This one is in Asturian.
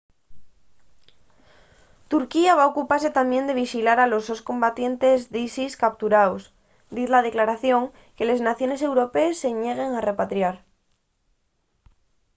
turquía va ocupase tamién de vixilar a los combatientes d’isis capturaos diz la declaración que les naciones europees se ñeguen a repatriar